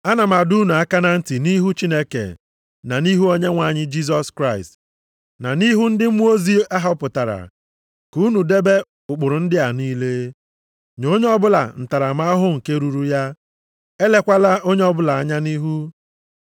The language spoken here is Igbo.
Ana m adọ unu aka na ntị nʼihu Chineke na nʼihu Onyenwe anyị Jisọs Kraịst na nʼihu ndị mmụọ ozi a họpụtara, ka unu debe ụkpụrụ ndị a niile, nye onye ọbụla ntaramahụhụ nke ruru ya, elekwala onye ọbụla anya nʼihu.